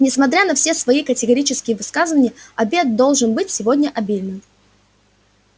несмотря на все твои категорические высказывания обед должен быть сегодня обильным